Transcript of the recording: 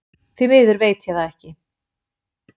Því miður veit ég það ekki